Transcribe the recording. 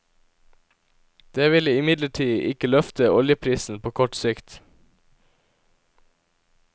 Det vil imidlertid ikke løfte oljeprisen på kort sikt.